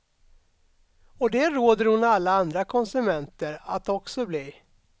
Och det råder hon alla andra konsumenter att också bli.